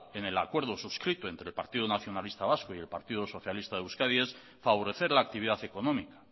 en el acuerdo suscrito entre el partido nacionalista vasco y el partido socialista de euskadi es favorecer la actividad económica